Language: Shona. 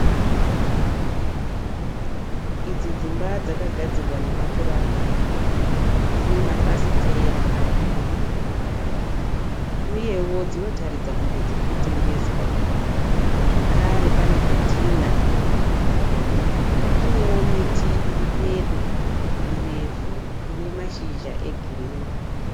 Idzi dzimba dzakagadzirwa nemapuranga. Dzine mafafitera maviri uyewo dzinotaridza kunge dzirikutengeswa zvakare pane zvidhina. Panewo miti iri pedo mirefu ine mashizha egirinhi.